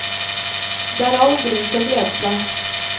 Det er all grunn til å glede seg.